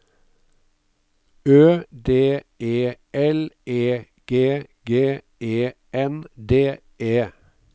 Ø D E L E G G E N D E